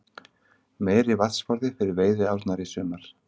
Meiri vatnsforði fyrir veiðiárnar í sumar